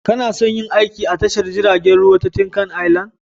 Kana son yin aiki a tashar jiragen ruwa ta Tinkan Island?